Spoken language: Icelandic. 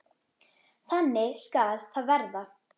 Þannig skal það verða.